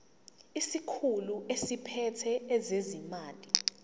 isikhulu esiphethe ezezimali